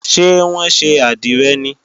Ṣé wọ́n ṣe àdìrẹ ni?